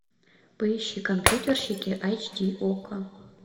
поищи компьютерщики айч ди окко